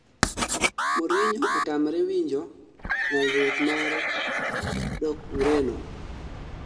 mourinho otamre winjo nyalruok mare dok ureno